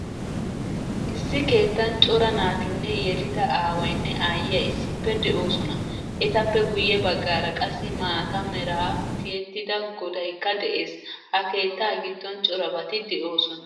Issi keettan cora naatinne yelida aawaynne aayiyaa issippe deosona. Etappe guye baggaara qassi maataa meran tiyettida godaykka de'ees. Ha keetta giddon corabati de'osona.